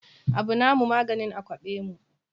Abu na mu maganin a kwaɓe mu